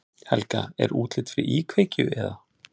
Helga: Er útlit fyrir íkveikju eða?